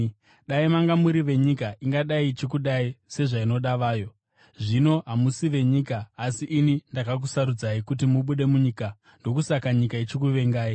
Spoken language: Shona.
Dai manga muri venyika, ingadai ichikudai sezvainoda vayo. Zvino, hamusi venyika, asi ini ndakakusarudzai kuti mubude munyika. Ndokusaka nyika ichikuvengai.